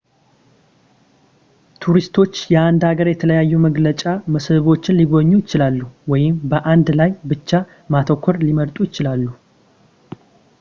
ቱሪስቶች የአንድ ሀገር የተለያዩ መገለጫ መስህቦችን ሊጎበኙ ይችላሉ ወይም በአንዱ ላይ ብቻ ማተኮር ሊመርጡ ይችላሉ